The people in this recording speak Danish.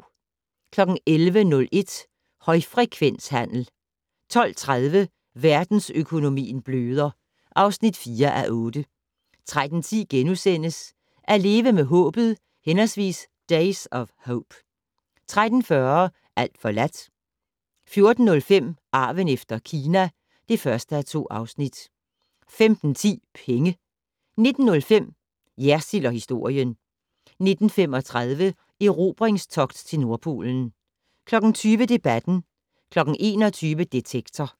11:01: Højfrekvenshandel 12:30: Verdensøkonomien bløder (4:8) 13:10: At leve med håbet/Days of hope * 13:40: Alt forladt 14:05: Arven efter Kina (1:2) 15:10: Penge 19:05: Jersild & historien 19:35: Erobringstogt til Nordpolen 20:00: Debatten 21:00: Detektor